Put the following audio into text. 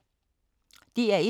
DR1